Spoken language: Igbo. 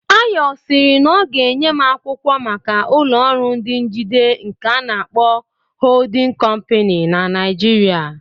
Ayo sịrị na ọ ga-enye m akwụkwọ maka ụlọ ọrụ ndị njide nke ana-akpọ "Holding Company" na Naijiria